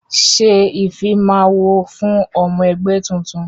Ṣé ìfimawo fún ọmọ ẹgbẹ́ tuntun!